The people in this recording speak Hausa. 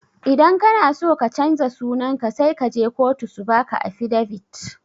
Idan kana so ka canja sunanka sai kaje kotu su baka afidavit.